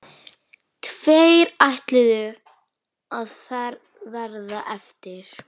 Tveir ætluðu að verða eftir.